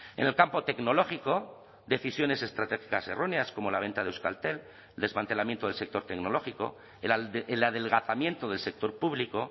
en el campo tecnológico decisiones estratégicas erróneas como la venta de euskaltel el desmantelamiento del sector tecnológico el adelgazamiento del sector público